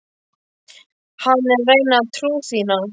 Hann er að reyna trú þína.